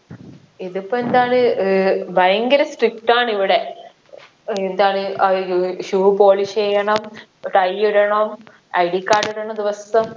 ഇതിപ്പൊ എന്താണ് ഏർ ഭയങ്കര strict ആണ് ഇവിടെ ഏർ എന്താണ് ആഹ് shoe polish എയ്യണം tie ഇടണം IDcard ഇടണം ദിവസം